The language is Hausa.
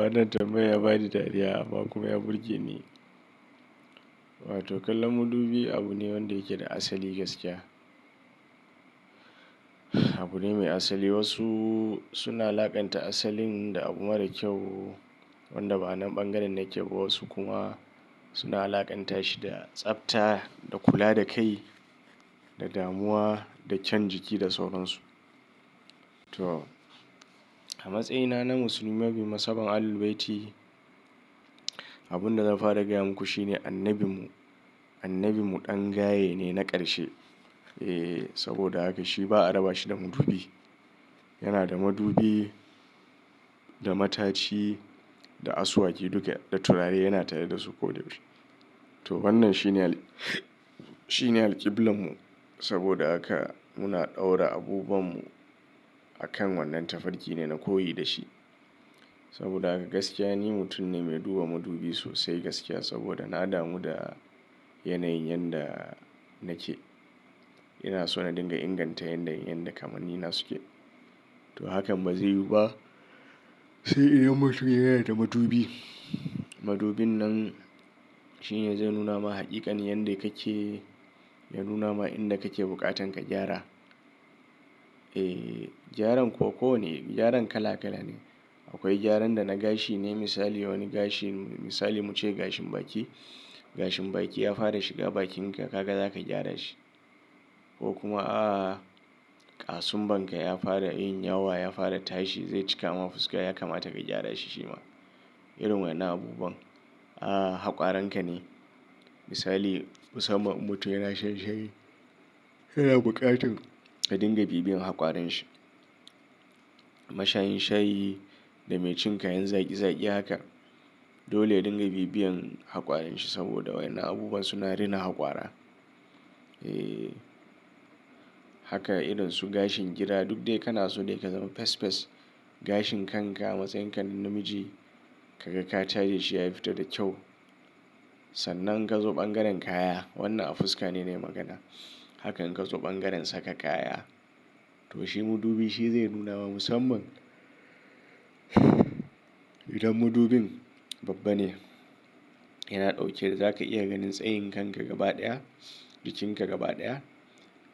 Wannan tambayar ya ba ni dariya amma kuma ya burge ni. Wato kallon madubi abu ne wanda yake da asali gaskiya. Abu ne mai asali. Wasu suna laƙanta asalin da abu mara kyau wanda ba nan bangaren na ke ba. Wasu kuma suna alaƙanta shi da tsafta, da kula da kai, da damuwa da can jiki da sauransu. To a matsayina na musulmi masu masaban Ahlul Bayti, abin da zan fara gaya muku shine annabimu, annabimu ɗan gaye ne na ƙarshe. Eh saboda haka shi ba a raba shi da madubi. Yana da madubi, da mataci, da asuwaki duka, da turare yana tare da su koyaushe. To wannan shine alqiblanmu saboda haka muna ɗaura abubuwanmu akan wannan tafarkine na koyi da shi. Saboda haka gaskiya ni mutum ne mai duba madubi sosai gaskiya saboda na damu da yanayin yanda nake. Ina so na dinga inganta yanayin yadda kamanni na suke. To hakan ba zai yiwu ba sai idan mutum yana da madubi. Madubin nan shine zai nuna ma haqiƙan yanda kake, ya nuna ma inda kake bukatan ka gyara. Eh gyaran ko ko ne, gyaran kala kala ne. Akwai gyaran da na gashi ne misali wani gashi misali muce gashin baki. Gashin baki ya fara shiga bakinka, kaka zaka gyara shi. Ko kuma a kasumbanka ya fara yin yawa ya fara tashi zai cika ma fuska ya kamata ka gyara shi shi ma. Irin wannan abubuwan. A hakwaranka ne misali musamman mutum yana shan shayi yana buƙatan ka dinga bibiyan hakwarin shi. Mashayin shayi da mai cin kayan zaki zaki haka dole dinga bibiyan hakwarin shi saboda wannan abubuwa suna rina hakwara. Eh haka idonsu gashin gida duk dai kana so dai ka zama fes fes gashin kanka matsayin kan namiji kaga ka taje shi ya fito da kyau. Sannan ka zo bangaren kaya wannan a fuska ne ne magana. Haka in ka zo bangaren saka kaya to shi madubi shi zai nuna ma musamman idan madubin babba ne yana ɗauke da zaka iya ganin tsayin kanka gaba ɗaya, jikinka gaba ɗaya.